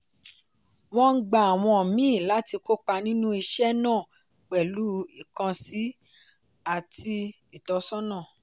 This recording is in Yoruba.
wọ́n ń gba àwọn míì láti kópa nínú iṣẹ́ náà pẹ̀lú ìkànsí àti ìtọ́sọ́nà.